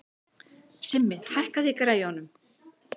Simmi, hækkaðu í græjunum.